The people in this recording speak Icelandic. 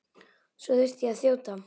Svo þurfti ég að þjóta.